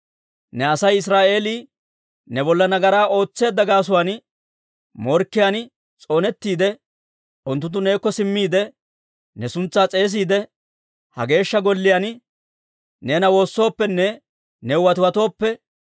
«Ne Asay Israa'eelii ne bolla nagaraa ootseedda gaasuwaan morkkiyaan s'oonettiide, unttunttu neekko simmiide, ne suntsaa s'eesiide, ha Geeshsha Golliyaan neena woossooppenne new watiwatooppe,